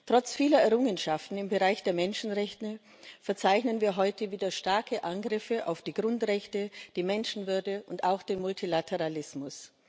Trotz vieler Errungenschaften im Bereich der Menschenrechte verzeichnen wir heute wieder starke Angriffe auf die Grundrechte, die Menschenwürde und auch den Multilateralismus.